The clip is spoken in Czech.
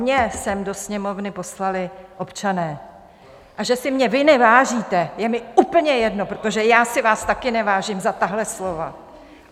Mě sem do Sněmovny poslali občané, a že si mě vy nevážíte, je mi úplně jedno, protože já si vás tady nevážím za tahle slova.